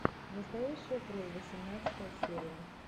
настоящая кровь восемнадцатая серия